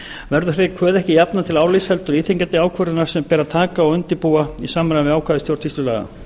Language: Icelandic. þeirri kvöð ekki jafnað til álits heldur íþyngjandi ákvörðunar sem ber að taka og undirbúa í samræmi við ákvæði stjórnsýslulaga